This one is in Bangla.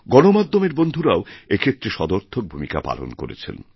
গণমাধ্যমের বন্ধুরাও এক্ষেত্রে সদর্থকভূমিকা পালন করেছেন